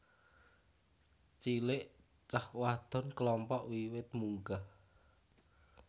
cilek cah wadon klompok wiwit munggah